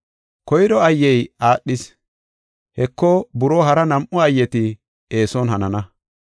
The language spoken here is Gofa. Koyro ayyey aadhis; Heko, buroo hara nam7u ayyeti eeson hanana.